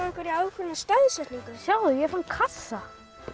ákveðna staðsetningu sjáðu ég fann kassa